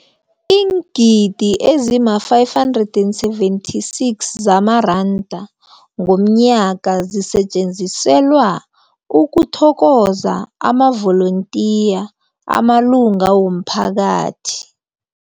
Iingidi ezima-576 zamaranda ngomnyaka zisetjenziselwa ukuthokoza amavolontiya amalunga womphakathi.